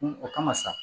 O kama sa